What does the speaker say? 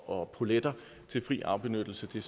og poletter til fri afbenyttelse det